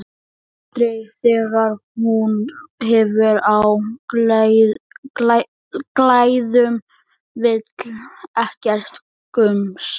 Aldrei þegar hún hefur á klæðum, vill ekkert gums.